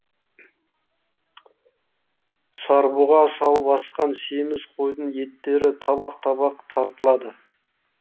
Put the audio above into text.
сарбұға салып асқан семіз қойдың еттері табақ табақ тартылады